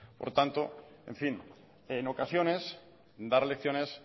por tanto en fin en ocasiones dar lecciones